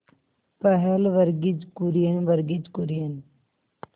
पहल वर्गीज कुरियन वर्गीज कुरियन